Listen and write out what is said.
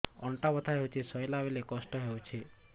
ଅଣ୍ଟା ବଥା ହଉଛି ଶୋଇଲା ବେଳେ କଷ୍ଟ ହଉଛି